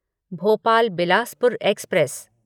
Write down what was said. Bhopal Bilaspur express